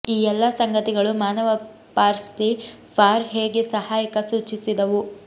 ಈ ಎಲ್ಲಾ ಸಂಗತಿಗಳು ಮಾನವ ಪಾರ್ಸ್ಲಿ ಫಾರ್ ಹೇಗೆ ಸಹಾಯಕ ಸೂಚಿಸಿದವು